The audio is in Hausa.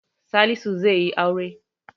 Salisu zaiyi aure